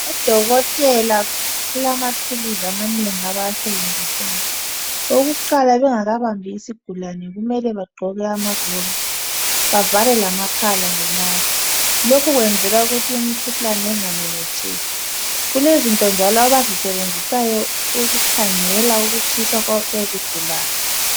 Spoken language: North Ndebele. Udokotela bakamathuluzi amanengi abawasebenzisayo. Okokuqala bengakabambi isigulane, kumele bagqoke amaglovisi. Bavale lamakhala ngemask. Lokhu kwenzelwa ukuthi imikhuhlane ingamemetheki. Kulezinto njalo abazisebenzisayo, ukukhangela, ukutshisa kwezigulane.